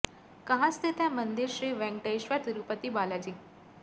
कहां स्थित है मंदिर श्री वेंकटेश्वर तिरुपति बाला जी